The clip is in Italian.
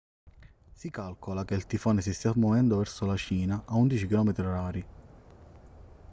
si calcola che il tifone si stia muovendo verso la cina a 11 km/h